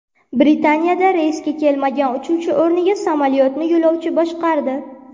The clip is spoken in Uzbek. Britaniyada reysga kelmagan uchuvchi o‘rniga samolyotni yo‘lovchi boshqardi.